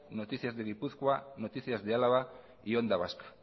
noticias de gipuzkoa noticias de álava y onda vasca